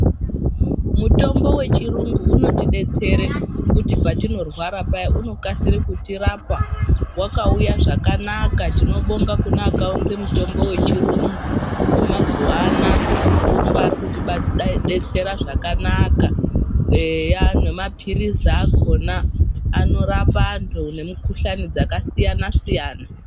Mutombo wechirungu unotidetsere kuthi petinorwara paya unokasire kitirapa, wakauya zvakanaka , timobonga kune akaunze muthombo wechirungu wemazuwa anaa umbaari kutidetsera zvakanaka eya nemaphirizi akhona unorapa anthu nemukhuhlani dzakasiyana siyana.